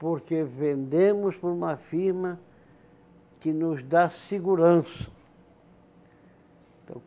Porque vendemos para uma firma que nos dá segurança.